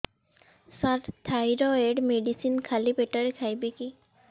ସାର thyroid medicine ଖାଲି ପେଟରେ ଖାଇବି କି